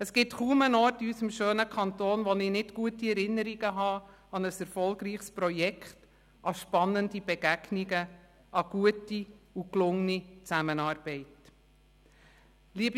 Es gibt kaum einen Ort in unserem schönen Kanton, wo ich nicht gute Erinnerungen an ein erfolgreiches Projekt, an spannende Begegnungen, an gute und gelungene Zusammenarbeit habe.